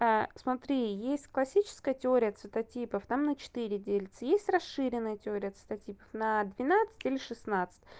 смотри есть классическая теория цветотипов там на четыре делится есть расширенная теория цветотипов на двенадцать или шестнадцать